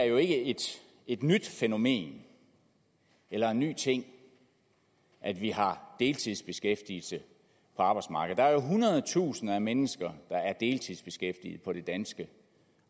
jo ikke er et nyt fænomen eller en ny ting at vi har deltidsbeskæftigelse på arbejdsmarkedet der er jo hundredtusinder af mennesker der er deltidsbeskæftigede på det danske